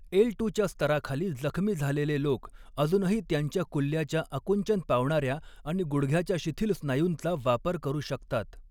L two च्या स्तराखाली जखमी झालेले लोक अजूनही त्यांच्या कुल्ल्याच्या आकुंचन पावणाऱ्या आणि गुडघ्याच्या शिथिल स्नायूंचा वापर करू शकतात.